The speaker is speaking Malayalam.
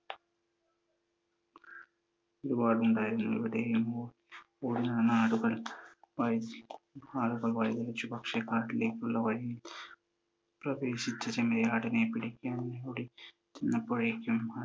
ഒരു കാട് ഉണ്ടായിരുന്നു അവിടെ നിന്ന് ഓടി വന്ന ആളുകൾ വഴിയിൽ വെച്ച് ഭക്ഷ്യക്കാട്ടിലേക്കുള്ള വഴി പ്രവേശിച്ച ചെമ്മരിയാടുകളെ പിടിക്കാൻ അവർ ഓടിചെന്നപ്പോഴേക്കും